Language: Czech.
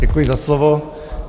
Děkuji za slovo.